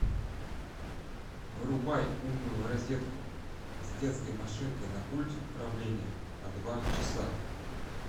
вырубай умную розетку с детской машинкой на пульте управления на два часа